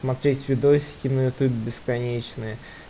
смотреть видосики на ютубе бесконечные